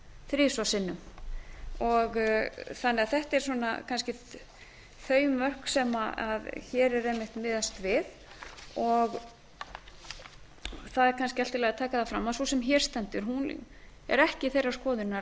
þrisvar sinnum þetta eru því kannski þau mörk sem hér er einmitt miðað við það er kannski allt í lagi að taka það fram að sú sem hér stendur er ekki þeirrar skoðunar